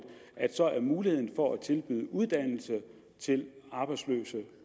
er muligheden for at tilbyde uddannelse til arbejdsløse